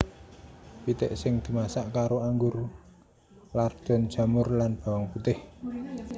Pitik sing dimasak karo anggur lardon jamur lan bawang putih